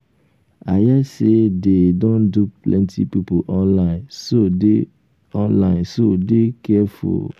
i hear say dey um don dupe plenty people online so dey online so dey careful um